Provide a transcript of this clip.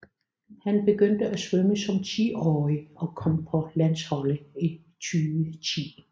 Han begyndte at svømme som tiårig og kom på landsholdet i 2010